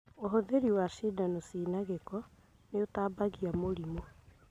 ũhũthĩri wa cindano ciĩna gĩko nĩitambagia mĩrimũ